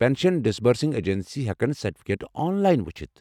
Pension disbursing agency ہٮ۪کن سرٹفکیٹہٕ online وُچھِتھ ۔